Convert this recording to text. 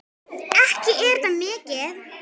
Ekki er það mikið!